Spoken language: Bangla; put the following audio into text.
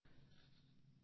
নতুনদিল্লি ২৭০৬২০২১